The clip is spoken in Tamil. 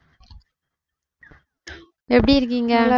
எப்படி இருக்கீங்க?